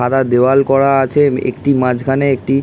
সাদা দেওয়াল করা আছে একটি মাঝখানে একটি--